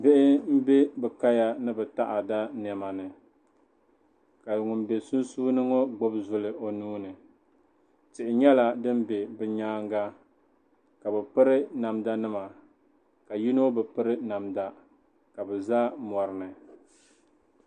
Bihi m-be bɛ kaya ni bɛ taɣada nɛma ni ka ŋun be sunsuuni ŋɔ gbubi zuli o nuu ni tihi nyɛla din be bɛ nyaaŋa ka bɛ piri namdanima ka yino bi piri namda ka bɛ za mɔri ni.